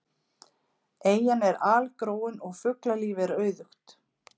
Eyjan er algróin og fuglalíf er auðugt.